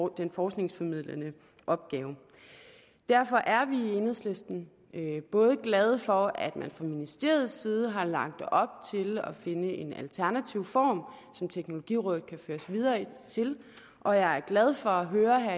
den forskningsformidlende opgave derfor er vi i enhedslisten glade for at man fra ministeriets side har lagt op til at finde en alternativ form som teknologirådet kan føres videre til og jeg er glad for at høre her